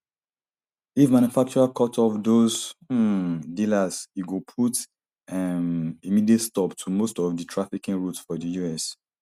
if manufacturers cut off those um dealers e go put um immediate stop to most of di trafficking routes for di us